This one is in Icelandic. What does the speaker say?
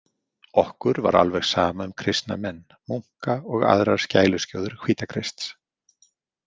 Okkur var alveg sama um kristna menn, munka og aðrar skæluskjóður Hvítakrists.